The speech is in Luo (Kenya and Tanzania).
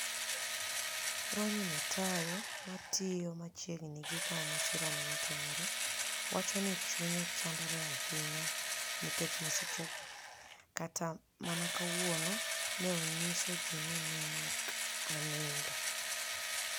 Roniniy Matayo, matiyo machiegnii gi kama masirano notimoree, wacho nii chuniye chanidore ahiniya niikech masichego: 'Kata mania kawuono, ni e niyiso ji nii ni e ok aniinido.